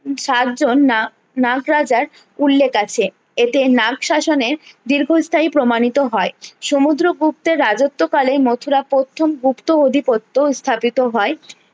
সাতজন না নাগ রাজার উল্লেখ আছে এতে নাগ শাসনের দীর্ঘস্থায়ী প্রমাণিত হয়ে সমুদ্র গুপ্তের রাজত্ব কালে মথুরা প্রথম গুপ্ত অধিপত্য স্থাপিত হয়ে